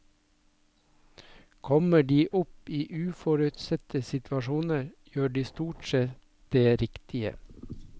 Kommer de opp i uforutsette situasjoner, gjør de stort sett det riktige.